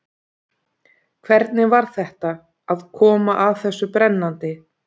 Hvernig var þetta, að koma að þessu brennandi?